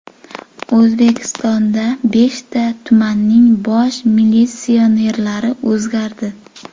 O‘zbekistonda beshta tumanning bosh militsionerlari o‘zgardi.